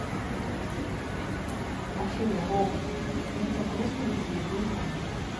афина робот мне так грустно без любимого